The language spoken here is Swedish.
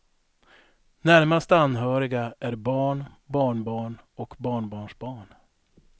Närmast anhöriga är barn, barnbarn och barnbarnsbarn.